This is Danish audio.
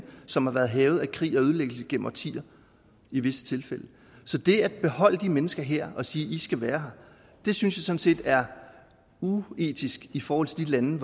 som har været hærget af krig og ødelæggelse igennem årtier i visse tilfælde så det at beholde de mennesker her og sige at de skal være her synes jeg sådan set er uetisk i forhold til de lande